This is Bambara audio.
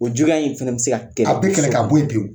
O juguya in fɛnɛ be se ka kɛ a bɛ kɛlɛ k'a bɔ ye pewu.